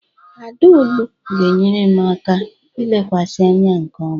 Adaoolu ga-enyere m aka ilekwasị anya nke ọma.